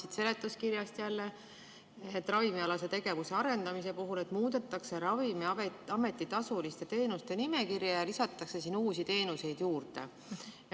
Loen seletuskirjast jälle, ravimialase tegevuse arendamise osast, et muudetakse Ravimiameti tasuliste teenuste nimekirja ja lisatakse sinna uusi teenuseid juurde.